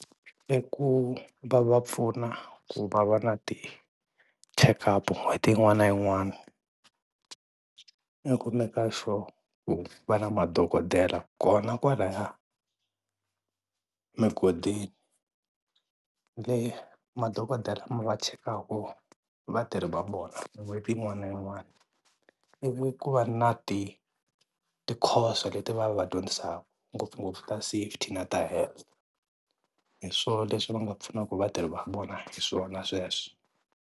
I ku va va pfuna ku va va na ti-checkup n'hweti yin'wana na yin'wana i ku make-a sure ku va na madokodela kona kwalaya mugodini, madokodela lama va chekaka vatirhi va vona n'hweti yin'wana na yin'wana, i ku va na ti ti-course leti va va dyondzisaka ngopfungopfu ta safety na ta health. Hi swo leswi va nga pfunaka vatirhi va vona hi swona sweswo.